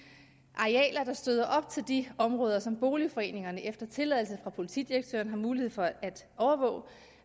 arealer der støder op til de områder som boligforeningerne efter tilladelse fra politidirektøren har mulighed for